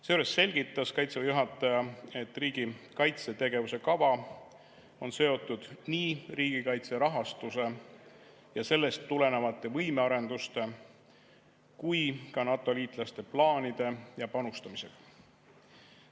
Seejuures selgitas Kaitseväe juhataja, et riigi kaitsetegevuse kava on seotud nii riigikaitse rahastuse ja sellest tulenevate võimearenduste kui ka NATO-liitlaste plaanide ja panustamisega.